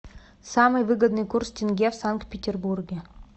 самый выгодный курс тенге в санкт петербурге